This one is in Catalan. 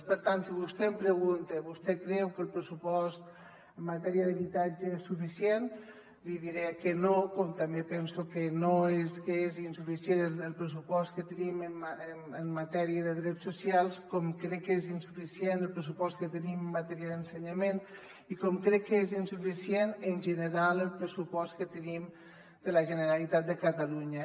per tant si vostè em pregunta vostè creu que el pressupost en matèria d’habitatge és suficient li diré que no com també penso que és insuficient el pressupost que tenim en matèria de drets socials com crec que és insuficient el pressupost que tenim en matèria d’ensenyament i com crec que és insuficient en general el pressupost que tenim de la generalitat de catalunya